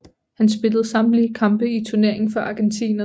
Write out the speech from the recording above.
Han spillede samtlige kampe i turneringen for argentinerne